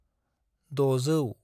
दजौ